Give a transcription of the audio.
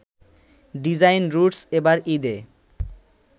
design roots এবার ঈদে